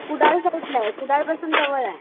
कुडाळ साईडला आहे कुडाळ पासून जवळ आहे.